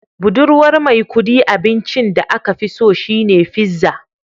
Budurwar Maikudi abincin da aka fi so shine pizza